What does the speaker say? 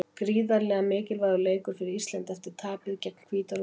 Gríðarlega mikilvægur leikur fyrir Ísland eftir tapið gegn Hvíta-Rússlandi.